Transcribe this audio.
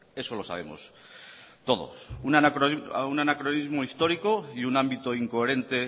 eso lo sabemos todos un anacronismo histórico y un ámbito incoherente